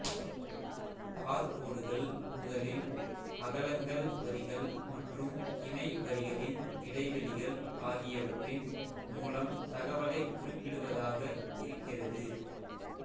பார்கோடுகள் முதலில் அகலங்கள்வரிகள் மற்றும் இணை வரிகளின் இடைவெளிகள் ஆகியவற்றின் மூலம் தகவலைக் குறிப்பிடுவதாக இருக்கிறது